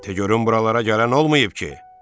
Te görüm buralara gələn olmayıb ki?